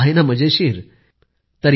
पोन मरियप्पन यांच्याशी बातचीत करू या